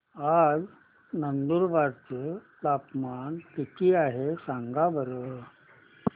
आज नंदुरबार चं तापमान किती आहे सांगा बरं